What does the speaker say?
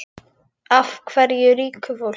Af ríku fólki?